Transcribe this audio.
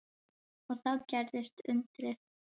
Og þá gerðist undrið.